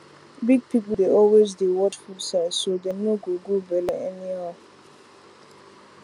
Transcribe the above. big people dey always dey watch food size so dem no go grow belle anyhow